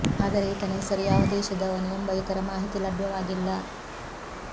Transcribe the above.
ಆದರೆ ಈತನ ಹೆಸರು ಯಾವ ದೇಶದವನು ಎಂಬ ಇತರ ಮಾಹಿತಿ ಲಭ್ಯವಾಗಿಲ್ಲ